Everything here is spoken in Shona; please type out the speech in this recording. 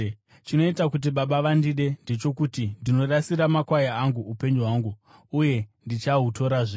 Chinoita kuti Baba vandide ndechokuti ndinorasira makwai angu upenyu hwangu, uye ndichahutorazve.